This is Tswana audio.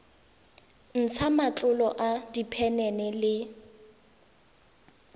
ntsha matlolo a diphenene le